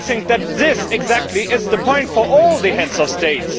I think that this is exactly the point for all the Heads of State.